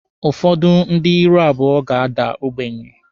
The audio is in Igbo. Ụfọdụ ndị ihu abụọ ga-ada ogbenye.